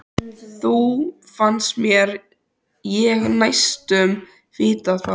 Þó fannst mér ég næstum vita það.